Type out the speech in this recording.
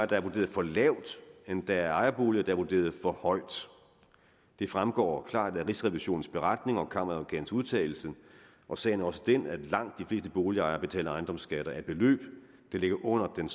der er vurderet for lavt end der er ejerboliger er vurderet for højt det fremgår klart af rigsrevisionens beretning og kammeradvokatens udtalelse og sagen er også den at langt de fleste boligejere betaler ejendomsskatter af beløb der ligger under den